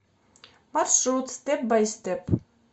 маршрут степ бай степ